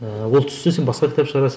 ыыы ол түссе сен басқа кітап шығарасың